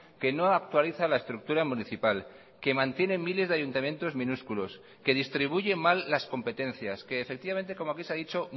que no actualiza la estructura municipal que mantiene miles de ayuntamientos minúsculos que distribuye mal las competencias que efectivamente como aquí se ha dicho